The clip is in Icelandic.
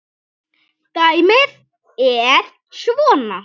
Dæmið er svona